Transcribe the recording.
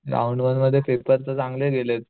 round one मध्ये paper तर चांगले गेलेत